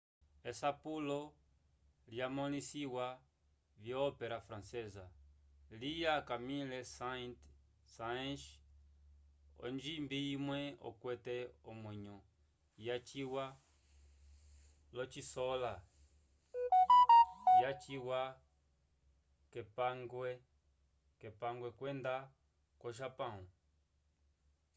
esapulo lyamõlisiwa vyo-ópera francesa lya camille saint-saens onjimbi imwe okwete omwenyo yaciwa l'ocisola yaciwa k'epangwe kwenda ko-japão